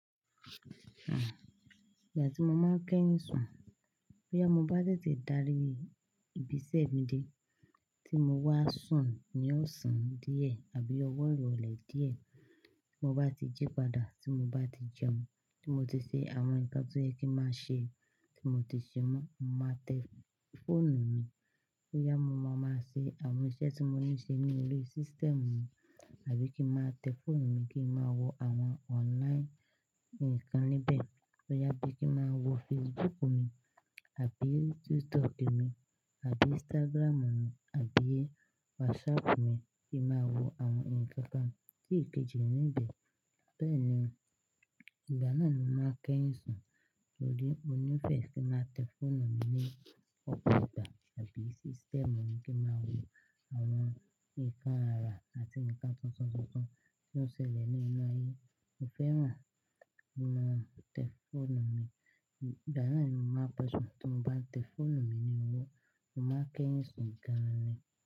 À, ìgbà tí mo máa ń kẹ́yìn sùn, bóyá mo bá tètè dárí ibi iṣẹ́ mi dé tí mo wá sùn ní ọ̀sán díẹ̀ àbí ọwọ́ ìrọ̀lẹ́ díẹ̀, tí mo bá ti jí padà, tí mo bá ti jẹun, tí mo ti ṣe àwọn nǹkan tó yẹ kí má ṣe, tí mo ti ṣe wọ́n, màá tẹ fóònù mi. Bóyá mo máa máa ṣe àwọn iṣẹ́ tí mo ní ń ṣe nínú ori, sístẹ̀mù mi, àbí kí má tẹ fóònù mi kí n má wo àwọn online ǹkan níbẹ̀. Bóyá bí kí má wo Facebook mi àbí TikTok mi, àbí Instagram mi, àbí WhatsApp mi kí n má wo àwọn ǹkan kan sí ìkejì níbẹ̀. Bẹ́ẹ̀ ni, ìgbà náà ni mo máa ń kẹ́yìn sùn torí mo ní ìfẹ́ kí má tẹ fóònù mi ní ọ̀pọ̀ ìgbà, àbí sístẹ̀mù mi kí n má wo àwọn ìkan ára àti nǹkan tuntun tuntun tí ó ń ṣẹlẹ̀ ní inú ayé. Mo fẹ́ràn kí n má tẹ fóònù mi. Ìgbà náà ni mo má pe sùn. Tí mo bá tẹ fóònù mi ni mo, mo máa ń kẹ́yìn sùn laale.